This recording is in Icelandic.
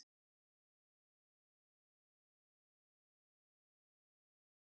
Ef hreindýraveiðum yrði alveg hætt þá myndi hreindýrum eflaust fjölga nokkuð hratt.